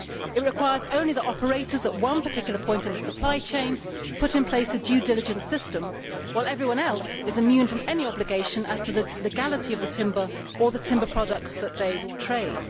It requires only that operators at one particular point in the supply chain put in place a due diligence system while everyone else is immune from any obligation as to the legality of the timber or the timber products that they trade.